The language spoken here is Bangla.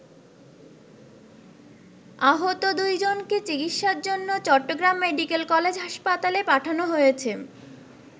আহত দুইজনকে চিকিৎসার জন্য চট্টগ্রাম মেডিকেল কলেজ হাসপাতালে পাঠানো হয়েছে।